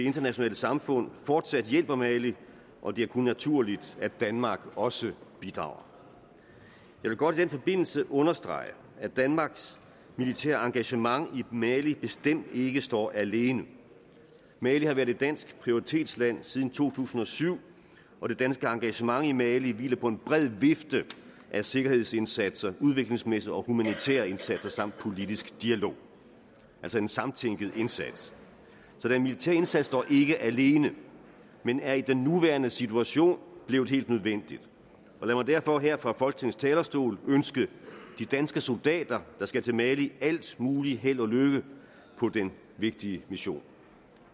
internationale samfund fortsat hjælper mali og det er kun naturligt at danmark også bidrager jeg vil godt i den forbindelse understrege at danmarks militære engagement i mali bestemt ikke står alene mali har været et dansk prioritetsland siden to tusind og syv og det danske engagement i mali hviler på en bred vifte af sikkerhedsindsatser udviklingsmæssige og humanitære indsatser samt politisk dialog altså en samtænkt indsats så den militære indsats står ikke alene men er i den nuværende situation blevet helt nødvendig lad mig derfor her fra folketingets talerstol ønske de danske soldater der skal til mali alt muligt held og lykke på den vigtige mission